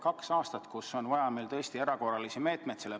Kahe aasta jooksul on meil vaja tõesti erakorralisi meetmeid.